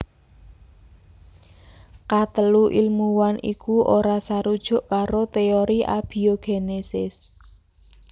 Katelu ilmuwan iku ora sarujuk karo téori abiogénesis